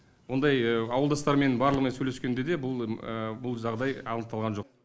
ондай ауылдастармен барлығымен сөйлескенде де бұл жағдай анықталған жоқ